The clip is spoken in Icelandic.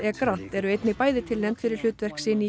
grant eru einnig bæði tilnefnd fyrir hlutverk sín í